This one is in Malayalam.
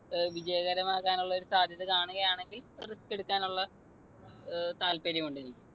വിജയകരമാകാനുള്ളൊരു സാധ്യത കാണുകയാണെങ്കിൽ risk എടുക്കാനുള്ള ഏർ താത്പര്യം ഉണ്ട് എനിക്ക്.